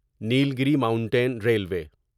Nilgiri mountain railway